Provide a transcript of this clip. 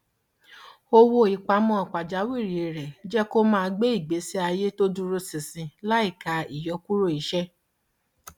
owó ìpamọ pajawírí rẹ jẹ kó máa gbé ìgbésí ayé tó dúró ṣinṣin láìka ìyọkúrò iṣẹ